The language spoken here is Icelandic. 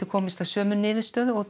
komist að sömu niðurstöðu og